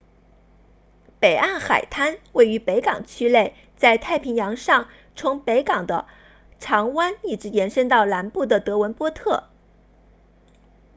北岸海滩位于北港区内在太平洋上从北部的长湾 long bay 一直延伸到南部的德文波特 devonport